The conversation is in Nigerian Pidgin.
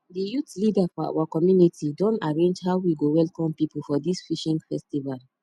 di youth leader for our community don arrange how we go welcome people for dis fishing festival